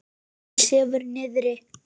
Hún sefur niðri.